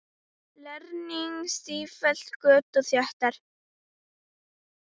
Leirinn stíflar göt og þéttir.